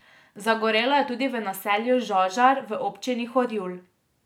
Zagorelo je tudi v naselju Žažar v občini Horjul.